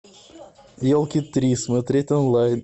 елки три смотреть онлайн